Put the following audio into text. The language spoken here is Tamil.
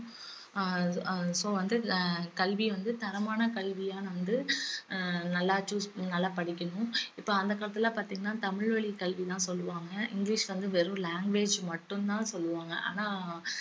அஹ் அஹ் so வந்து அஹ் கல்விய வந்து தரமான கல்வியா வந்து அஹ் நல்லா choose நல்லா படிக்கணும் இப்ப அந்த காலத்துலல்லாம் பாத்தீங்கன்னா தமிழ் வழி கல்வி தான் சொல்லுவாங்க இங்கிலிஷ் வந்து வெறும் language மட்டும் தான் சொல்லுவாங்க ஆனா